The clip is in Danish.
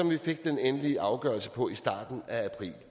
vi fik den endelige afgørelse på sagerne i starten af april